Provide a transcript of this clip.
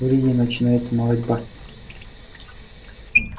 в риге начинается молотьба